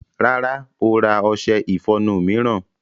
Rárá, ó ra ọṣẹ ìfọnu mìíràn.